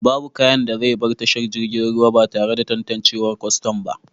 Babu kayan da zai bar tashar jiragen ruwa batare da tantanciwar Kwaston ba